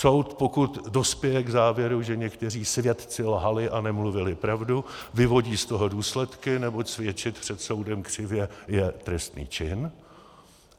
Soud, pokud dospěje k závěru, že někteří svědci lhali a nemluvili pravdu, vyvodí z toho důsledky, neboť svědčit před soudem křivě je trestný čin.